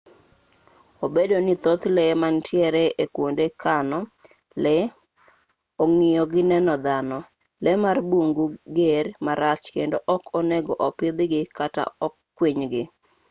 obedo ni thoth lee manitiere e kwonde kano lee ong'iyo gi neno dhano lee mar bungu ger marach kedo ok onego opidhgi kata kwinygi